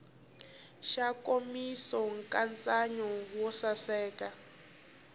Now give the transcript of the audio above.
xa nkomiso nkatsakanyo wo saseka